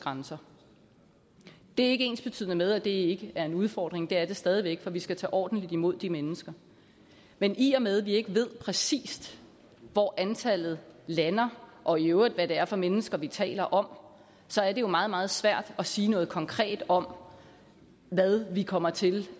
grænser det er ikke ensbetydende med at det ikke er en udfordring det er det stadig væk for vi skal tage ordentligt imod de mennesker men i og med vi ikke ved præcist hvor antallet lander og i øvrigt hvad det er for mennesker vi taler om så er det jo meget meget svært at sige noget konkret om hvad vi kommer til